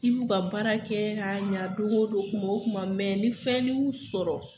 I b'u ka baara kɛ ka ɲɛ dongo don kuma o kuma mɛ ni fɛnnin y'u sɔrɔ.